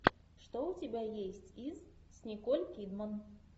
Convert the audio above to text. что у тебя есть из с николь кидман